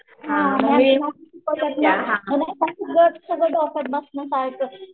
तुझं